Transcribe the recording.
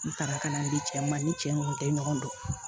N taara ka n'a di cɛw ma ni cɛ ɲɔgɔn tɛ ɲɔgɔn dɔn